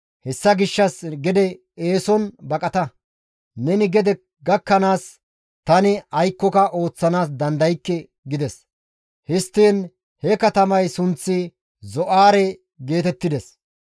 Hessa gishshas gede eeson baqata; neni gede gakkanaas tani aykkoka ooththanaas dandaykke» gides; histtiin he katamay sunththi Zo7aare geetettides.